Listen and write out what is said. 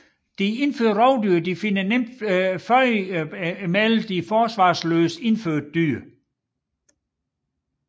De indførte rovdyr finder let føde blandt de forsvarsløse indfødte dyr